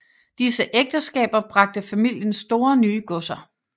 Disse ægteskaber bragte familien store nye godser